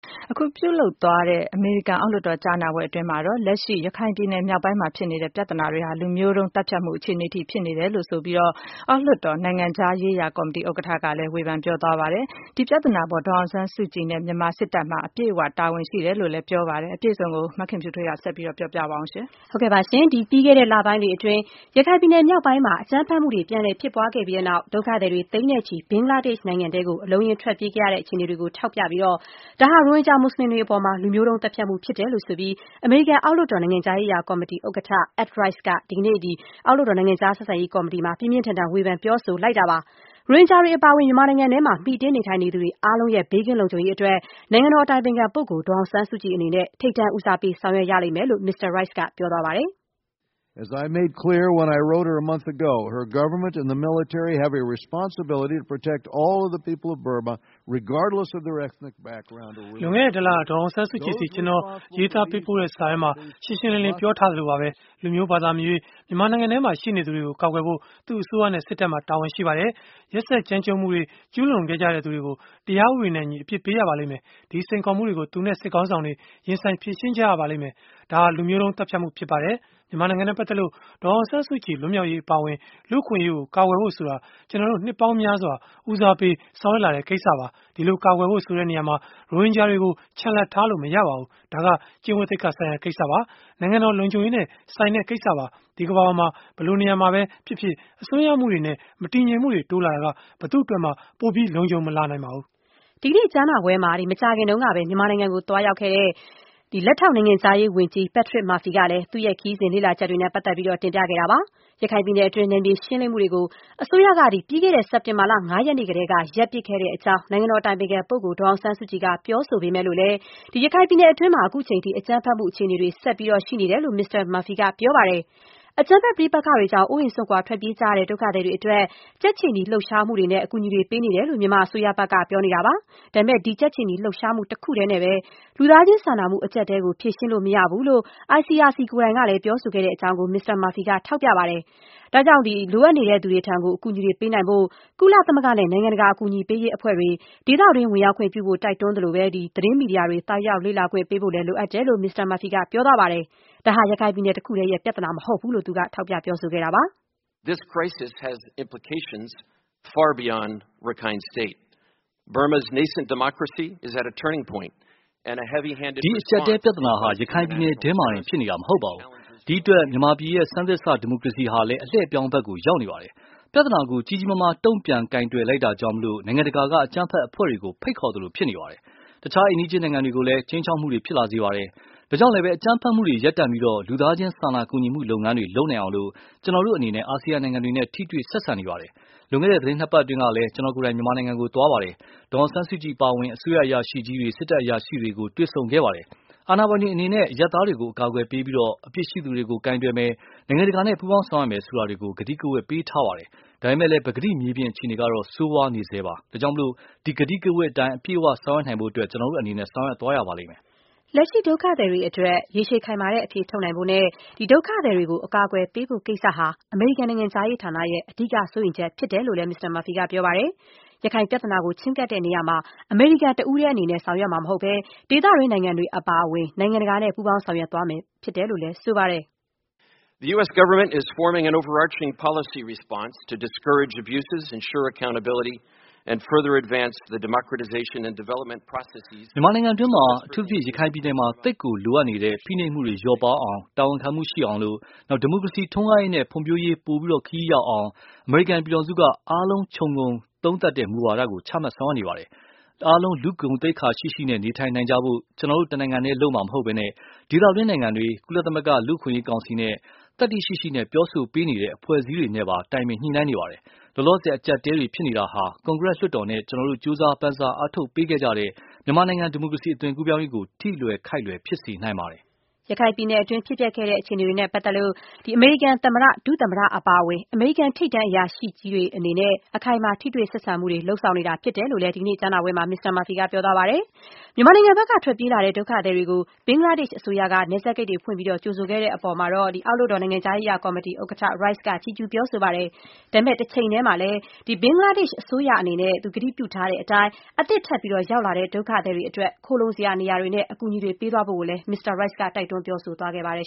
အခုပြုလုပ်သွားတဲ့ အမေရိကန်အောက်လွှတ်တော်ကြားနာပွဲအတွင်းမှာတော့ လက်ရှိ ရခိုင်ပြည်နယ်မြောက်ပိုင်းမှာ ဖြစ်နေတဲ့ ပြဿနာတွေဟာ လူမျိုးတုံး သတ်ဖြတ်မှု အခြေအနေအထိ ဖြစ်နေတယ်လို့ ဆိုပြီး အောက်လွှတ်တော် နိုင်ငံခြားရေးရာကော်မတီ ဥက္ကဋ္ဌ Ed Royce က ဝေဖန်ပြောဆိုသွားပါတယ်။ ဒီပြဿနာအပေါ် ဒေါ်အောင်ဆန်းစုကြည်နဲ့ မြန်မာစစ်တပ်မှာ အပြည့်အ၀ တာဝန်ရှိတယ်လို့လည်း ပြောသွားပါတယ်။ အပြည်စုံကို မခင်ဖြူထွေးက ဆက်ပြောပြပါမယ်။ ပြီးခဲ့တဲ့လပိုင်းတွေအတွင်း ရခိုင်ပြည်နယ် မြောက်ပိုင်းမှာ အကြမ်းဖက်မှုတွေ ပြန်လည် ဖြစ်ပွားခဲ့ပြီးတဲ့နောက် ဒုက္ခသည်တွေ သိန်းနဲ့ချီ အိမ်နီးချင်း ဘင်္ဂလားဒေ့ရှ် နိုင်ငံထဲ အလုံးအရင်း ထွက်ပြေးခဲ့ရတဲ့ အခြေအနေတွေကို ထောက်ပြပြီး ဒါဟာ ရိုဟင်ဂျာမူစလင်တွေအပေါ် လူမျိုးတုံး သတ်ဖြတ်မှု ဖြစ်တယ်လို့ အမေရိကန် အောက်လွှတ်တော် နိုင်ငံခြားရေးရာကော်မတီ ဥက္ကဋ္ဌ Ed Royce က ဒီကနေ့ အောက်လွှတ်တော် နိုင်ငံခြားဆက်ဆံရေးကော်မတီမှာ ပြင်းပြင်းထန်ထန် ဝေဖန် ပြောဆိုလိုက်ပါတယ်။ ရိုဟင်ဂျာတွေ အပါအဝင် မြန်မာနိုင်ငံထဲမှာ မှီတင်း နေထိုင်နေထိုင်သူ အားလုံးရဲ့ ဘေးကင်းလုံခြုံရေးအတွက် နိုင်ငံတော်အတိုင်ပင်ခံပုဂ္ဂိုလ် ဒေါ်အောင်ဆန်းစုကြည် အနေနဲ့ ထိပ်တန်း ဦးစားပေး ဆောင်ရွက်ရလိမ့်မယ်လို့ မစ္စတာ Royce က ပြောသွားပါတယ်။ “လွန်ခဲ့တဲ့တလက ဒေါ်အောင်ဆန်းစုကြည်ဆီ ကျနော် ရေးပို့ခဲ့တဲ့စာထဲမှာ ရှင်းရှင်းလင်းလင်း ပြောခဲ့သလိုပါပဲ… လူမျိုး၊ ဘာသာမရွေး မြန်မာနိုင်ငံထဲမှာ ရှိနေသူတွေကို ကာကွယ်ဖို့ သူမရဲ့အစိုးရနဲ့ စစ်တပ်မှာ တာဝန်ရှိပါတယ်။ ရက်စက်ကြမ်းကြုတ်မှုတွေ ကျူးလွန်ခဲ့ကြသူတွေကို တရားဥပဒေနဲ့အညီ အပြစ်ပေးရပါမယ်။ ဒီစိန်ခေါ်မှုတွေကို သူမနဲ့ စစ်ခေါင်းဆောင်တွေ ရင်ဆိုင် ဖြေရှင်းရပါလိမ့်မယ်။ ဒါဟာ လူမျိုးတုံး သတ်ဖြတ်မှုဖြစ်ပါတယ်။ မြန်မာနိုင်ငံနဲ့ပတ်သက်လို့ ဒေါ်အောင်ဆန်းစုကြည် လွတ်မြောက်ရေး အပါအဝင် လူ့အခွင့်အရေးကို ကာကွယ်ဖို့ ဆိုတာ ကျနော်တို့ နှစ်ပေါင်းများစွာ ဦးစားပေး ဆောင်ရွက်လာတဲ့ကိစ္စပါ။ ဒီလိုကာကွယ်ဖို့ဆိုတာမှာ ရိုဟင်ဂျာတွေကို ချန်လှပ်ထားလို့ မရပါဘူး။ ဒါက ကျင့်ဝတ်သိက္ခာဆိုင်ရာ ကိစ္စပါ။ နိုင်ငံတော် လုံခြုံရေးနဲ့ဆိုင်တဲ့ကိစ္စပါ။ ဒီကမ္ဘာပေါ်က ဘယ်လိုနေမှာပဲ ဖြစ်ဖြစ် အစွန်းရောက်မှုတွေနဲ့ မတည်ငြိမ်မှုတွေ တိုးလာတာက ဘယ်သူ့အတွက်မှ ပိုပြီး လုံခြုံမလာပါဘူး။” ဒီကနေ့ ကြားနာပွဲမှာ မကြာခင်ကပဲ မြန်မာနိုင်ငံကို သွားရောက်ခဲ့တဲ့ လက်ထောက်နိုင်ငံခြားရေးဝန်ကြီး Patrick Murphy ကလည်း သူ့ခရီးစဉ် လေ့လာချက်တွေနဲ့ပတ်သက်လို့ တင်ပြသွားပါတယ်။ ရခိုင်ပြည်နယ်တွင်း နယ်မြေရှင်းလင်းမှုတွေကို အစိုးရက ပြီးခဲ့တဲ့ စက်တင်ဘာလ ၅ ရက်နေ့ကတည်းက ရပ်ပစ်ခဲ့တဲ့အကြောင်း နိုင်ငံတော်အတိုင်ပင်ခံ ပုဂ္ဂိုလ်ဒေါ်အောင်ဆန်းစုကြည်က ပြောဆိုပေမဲ့လို့လည်း ရခိုင်ပြည်နယ် တွင်းမှာ ခုချိန်ထိ အကြမ်းဖက်မှုအခြေအနေတွေ ဆက်ပြီး ရှိနေတယ်လို့ မစ္စတာ Murphy ကပြောပါတယ်။ အကြမ်းဖက်ပဋိပက္ခတွေကြောင့် အိုးအိမ်စွန့်ခွာ ထွက်ပြေးခဲ့ကြရတဲ့ ဒုက္ခသည်တွေအတွက် ကြက်ခြေနီလှုပ်ရှားမှုတွေနဲ့ အကူအညီတွေ ပေးနေတယ်လို့ မြန်မာ အစိုးရဘက်က ပြောဆိုထားတာပါ။ ဒါပေမဲ့ ဒီ ကြက်ခြေနီလှုပ်ရှားမှု တခုတည်းနဲ့ လူသားချင်းစာနာမှု အကျပ်အတည်းကို ဖြေရှင်းလို့ မရဘူလို့ နိုင်ငံတကာ ကြက်ခြေနီအဖွဲ ICRC ကိုယ်တိုင်က ပြောဆိုခဲ့တဲ့အကြောင်း မစ္စတာ Murphy က ထောက်ပြပါတယ်။ ဒါကြောင့် လိုအပ်နေသူတွေထံ အကူအညီတွေ ပေးနိုင်ဖို့ ကုလသမဂ္ဂနဲ့ နိုင်ငံတကာ အကူအညီပေးရေးအဖွဲ့တွေ ဒေသတွင်း ဝင်ရောက်ခွင့်ပြုဖို့ တိုက်တွန်းသလို၊ သတင်းမီဒီယာတွေ သွားရောက် လေ့လာခွင့်ပေးဖို့ လိုအပ်တဲ့အကြောင်းလည်း မစ္စတာ မာဖီက ပြောသွားပါတယ်။ ဒါဟာ ရခိုင်ပြည်နယ်တခုတည်းရဲ့ ပြဿနာ မဟုတ်ဘူးလို့ သူက ပြောသွားပါတယ်။ “အခု ဒီအကျပ်အတည်းပြဿနာဟာ ရခိုင်ပြည်နယ်တွင်းမှာတင် ဖြစ်နေတာမဟုတ်ဘဲ၊ တခြား မြန်မာပြည်ရဲ့ ဆန်းသစ်စ ဒီမိုကရေစီဟာလည်း အလှည့်အပြောင်းကို ရောက်နေပါတယ်။ ပြဿနာကို ကြီးကြီးမားမား တုံ့ပြန်ကိုင်တွယ်လိုက်တာကြောင့် နိုင်ငံတကာက အကြမ်းဖက်အဖွဲ့တွေကို ဖိတ်ခေါ်သလိုဖြစ်နေပါတယ်။ အခြား အိမ်နီးချင်းနိုင်ငံတွေကိုလည်း ခြိမ်းခြောက်မှုတွေ ဖြစ်လာစေပါတယ်။ ဒါကြောင့်လဲ အကြမ်းဖက်မှုတွေရပ်တန့်ပြီး လူသားချင်းစာနာကူညီမှုလုပ်ငန်းတွေ လုပ်နိုင်အောင် ကျနော်တို့အနေနဲ့ အာဆီယံနိုင်ငံတွေနဲ့ ထိတွေ့ဆက်ဆံနေပါတယ်။ လွန်ခဲ့တဲ့ သီတင်းနှစ်ပတ်အတွင်းကလည်း ကျနော်ကိုယ်တိုင် မြန်မာနိုင်ငံကို ရောက်ခဲ့ပါတယ်။ ဒေါ်အောင်ဆန်းစုကြည်ပါအဝင် အစိုးရအရာရှိကြီးတွေ စစ်တပ်အရာရှိကြီးတွေကို တွေ့ဆုံခဲ့ပါတယ်။ အာဏာပိုင်တွေအနေနဲ့ အရပ်သားတွေကို အကာအကွယ်ပေးပြီး၊ အပြစ်ရှိသူတွေကို ကိုင်တွယ်မယ်၊ နိုင်ငံတကာနဲ့ ပူးပေါင်း ဆောင်ရွက်မယ်ဆိုတာတွေကို ကတိကဝတ်ပေးထားပါတယ်။ ဒါပေမဲလည်း ပကတိ မြေပြင်အခြေအနေကတော့ ဆိုးဝါးနေဆဲပါ။ ဒါကြောင့် ဒီ ကတိကဝတ်အတိုင်း အပြည့်အ၀ ဆောင်ရွက်နိုင်ဖို့အတွက် ကျနော်တို့အနေနဲ့ ဆောင်ရွက်သွားရပါလိမ့်မယ်။” လက်ရှိ ဒုက္ခသည်တွေအတွက် ရေရှည်ခိုင်မာတဲ့ အဖြေထုတ်နိုင်ဖို့နဲ့ ဒုက္ခသည်တွေကို အကာအကွယ်ပေးဖို့ကိစ္စဟာ အမေရိကန်နိုင်ငံခြားရေး ဌာနရဲ့ အဓိက စိုးရိမ်ချက်ဖြစ်တယ်လို့လည်း မစ္စတာ Murphy က ပြောပါတယ်။ ရခိုင်ပြဿနာ ချဉ်းကပ်တဲ့နေရာမှာ အမေရိကန်တဦးတည်း အနေနဲ့ ဆောင်ရွက်မှာ မဟုတ်ဘဲ ဒေသတွင်းနိုင်ငံတွေ အပါအဝင် နိုင်ငံတကာနဲ့ ပူးပေါင်းဆောင်ရွက်သွားမယ်လို့ သူက ပြောပါတယ်။ “မြန်မာနိုင်ငံတွင်းမှာ အထူးသဖြင့် ရခိုင်ပြည်နယ်မှာ သိပ်ကိုလိုအပ်နေတဲ့ ဖိနှပ်မှုတွေလျော့ပါးအောင်၊ တာဝန်ခံမှုရှိအောင်၊ ဒီမိုကရေစီထွန်းကားရေးနဲ့ ဖွံ့ဖြိုးရေး ပိုမိုခရီးရောက်အောင်၊ အမေရိကန်ပြည်ထောင်စုက အားလုံးခြုံသုံးသပ်တဲ့ မူဝါဒကိုချမှတ် ဆောင်ရွက်နေပါတယ်။ အားလုံးလူ့ဂုဏ်သိက္ခာရှိရှိ နေနိုင်ကြဖို့ ကျနော်တို့ တနိုင်ငံတည်း လုပ်မှာမဟုတ်ဘဲ ဒေသတွင်းနိုင်ငံတွေ၊ ကုလသမဂ္ဂ လူ့အခွင့်အရေး ကောင်စီနဲ့ သတ္တိရှိရှိပြောဆိုပေးနေတဲ့ အဖွဲှအစည်းတွေနဲ့ပါ တိုင်ပင်ညှိနှိုင်းနေပါတယ်။ လောလောဆယ် အကျပ်အတည်းတွေ ဖြစ်နေတာဟာ ကွန်ကရက်လွှတ်တော်နဲ့ ကျနော်တို့ ကြိုးစားပမ်းစားအားထုတ်ပေးခဲ့ကြတဲ့ မြန်မာနိုင်ငံ ဒီမိုကရေစီ အသွင်ကူးပြောင်းရေးကို ထိလွယ်ခိုက်လွယ် ဖြစ်စေနိုင်ပါတယ်။” ရခိုင်ပြည်နယ်တွင်း ဖြစ်ပျက်ခဲ့တဲ့ အခြေအနေတွေနဲ့ပတ်သက်လို့ အမေရိကန် သမ္မတ၊ ဒုသမ္မတ အပါအဝင် အမေရိကန် ထိပ်တန်း အရာရှိတွေ အနေနဲ့ အခိုင်အမာ ထိတွေ့ဆက်ဆံမှုတွေ ဆောင်ရွက်နေတာဖြစ်တယ်လို့လည်း မစ္စတာ Murphy က ပြောသွားပါတယ်။ မြန်မာနိုင်ငံဘက်က ထွက်ပြေးလာတဲ့ ဒုက္ခသည်တွေကို ဘင်္ဂလားဒေ့ရှ်အစိုးရက နယ်စပ်ဂိတ်တွေ ဖွင့်ပြီး ကြိုဆိုခဲ့တဲ့အပေါ်မှာတော့ အောက်လွှတ်တော် နိုင်ငံခြားရေးရာကော်မတီ ဥက္ကဋ္ဌ Royce က ဒီကနေ့ ကြားနာပွဲမှာ ချီးကျူးပြောဆိုသွားပါတယ်။ ဒါပေမဲ့ တချိန်တည်းမှာလည်း ဘင်္ဂလားဒေ့ရှ် အစိုးရအနေနဲ့ ကတိပြုထားတဲ့အတိုင်း အသစ်ထပ်မံ ရောက်လာတဲ့ ဒုက္ခသည်တွေအတွက် ခိုလုံစရာနေရာတွေနဲ့ အကူအညီတွေ ပေးသွားဖို့ကို မစ္စတာ Royce က တိုက်တွန်း ပြောဆိုသွားပါတယ်